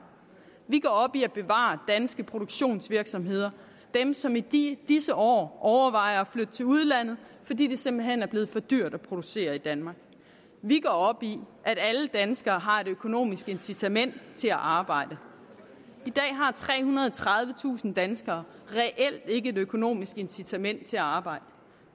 vi går op i at bevare danske produktionsvirksomheder som i disse disse år overvejer at flytte til udlandet fordi det simpelt hen er blevet for dyrt at producere i danmark vi går op i at alle danskere har et økonomisk incitament til at arbejde i dag har trehundrede og tredivetusind danskere reelt ikke et økonomisk incitament til at arbejde